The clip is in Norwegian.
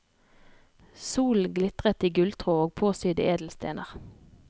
Solen glitret i gulltråd og påsydde edelstener.